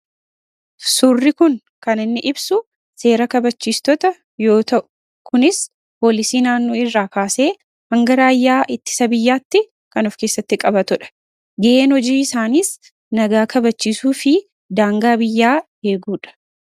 Suuraa kanaa gadii irraa kan inni ibsu, seera kabachiistota yammuu ta'u kunis immoo poolisii irraa eegalee hanga raayyaa ittisa biyyaatti kan of keessatti qabatuu dha. Ga'een hojii isaaniis nagaa kabachiisuu fi daangaa biyyaa eeguu dha.